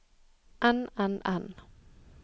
enn enn enn